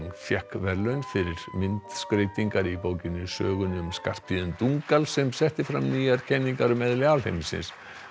fékk verðlaun fyrir myndskreytingar í bókinni sögunni um Skarphéðin Dungal sem setti fram nýjar kenningar um eðli alheimsins